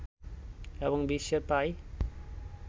এবং বিশ্বের প্রায়